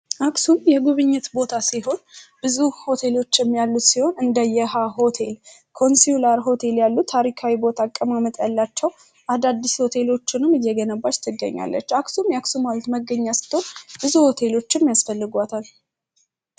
አክሱም የጉብኝት ቦታ ሲሆን ብዙ ሆቴሎችም ያሉት ሲሆን እንደ የሃ ሆቴል ኮንስላ ሆቴል ያሉት ታሪካዊ ቦታ አቀማመጠ ያላቸው አዳዲስ ሆቴሎችንም እየግነባች ትገኛለች አክሱም የአክሱም መገኛ ስቶን ብዙ ሆቴሎችም ያስፈልጓታል።